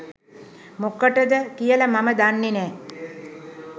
මොකටද කියලා මම දන්නේ නෑ.